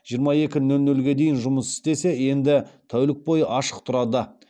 жиырма екіге дейін жұмыс істесе енді тәулік бойы ашық тұрады